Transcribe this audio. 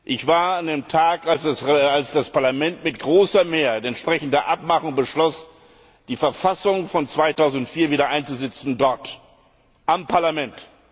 Ich war an dem Tag, als das Parlament mit großer Mehrheit entsprechend der Abmachung beschloss, die Verfassung von 2004 wieder einzusetzen, dort am Parlament.